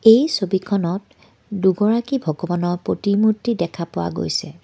এই ছবিখনত দুগৰাকী ভগৱানৰ প্ৰতিমূৰ্ত্তি দেখা পোৱা গৈছে।